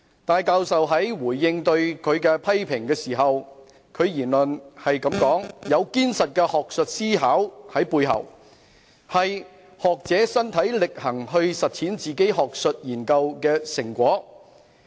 戴教授在回應對他的批評時表示，他的言論是"有堅實的學術思考在背後"，是"學者身體力行去實踐自己學術研究的成果"。